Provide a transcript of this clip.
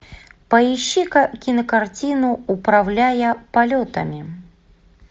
поищи ка кинокартину управляя полетами